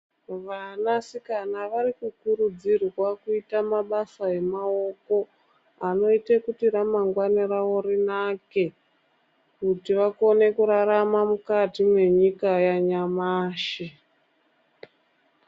Vanasikana vari kukurudzirwa kuita mabasa emaoko ,anoite kuti ramangwana ravo rinake, kuti vakone kurarama mukati mwenyika yanyamashi.